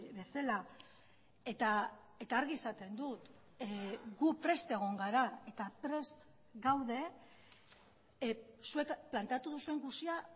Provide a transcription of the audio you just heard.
bezala eta argi esaten dut gu prest egon gara eta prest gaude zuek planteatu duzuen guztia